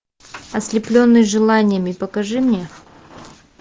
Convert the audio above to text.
ослепленный желаниями покажи мне